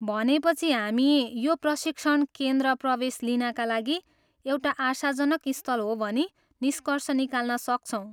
भनेपछि हामी यो प्रशिक्षण केन्द्र प्रवेश लिनका लागि एउटा आशाजनक स्थल हो भनी निस्कर्ष निकाल्न सक्छौँ।